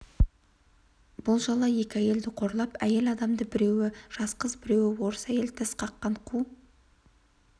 бұл жала екі әйелді қорлап әйел адамды біреуі жас қыз біреуі орыс әйел тіс қаққан қу